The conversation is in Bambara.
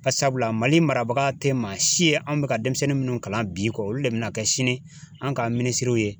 Barisabula MALImarabaga tɛ maa si ye an bɛ ka denmisɛnnin minnu kalan bi kɔ olu de bɛna kɛ sini an ka minisiriw ye.